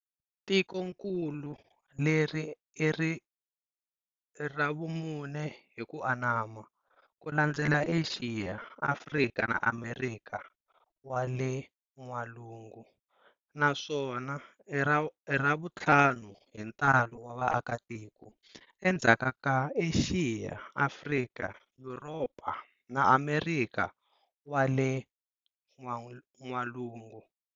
Tikonkulu leri ira vumune hi ku anama, kulandzela Axiya, Afrika na Amerika wa le N'walungu, naswona i ravunthlanu hi ntalo wa vaaka tiko, Endzhaku ka Axiya, Afrika, Yuropa na Amerikha wa le N'walungu.